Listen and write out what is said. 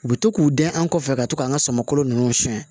U bɛ to k'u dɛn an kɔfɛ ka to k'an ka sama kolo ninnu siyɛn